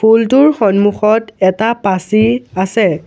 ফুলটোৰ সন্মুখত এটা পাচি আছে।